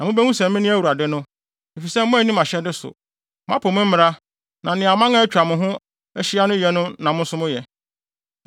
Na mubehu sɛ mene Awurade no, efisɛ moanni mʼahyɛde so, moapo me mmara na nea aman a atwa mo ho ahyia no yɛ no na mo nso moyɛ.”